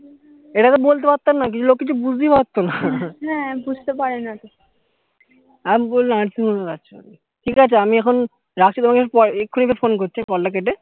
এটা তো বলতে পারতাম না কিন্তু লোক কিছু বুঝতেই পারতো না আমি বললাম ঠিকাছে আমি এখন রাখছি তোমাকে আমি পরে এক্ষুনি এসে phone করছি হ্যা call টা কেটে